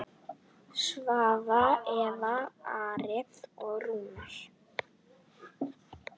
Svava, Eva, Ari og Rúnar.